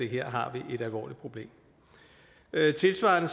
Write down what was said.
her har vi et alvorligt problem tilsvarende